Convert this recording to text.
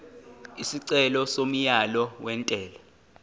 isicelo somyalo wentela